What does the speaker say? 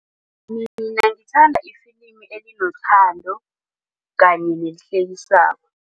Mina ngithanda ifilimi elinothando kanye nelihlekisako.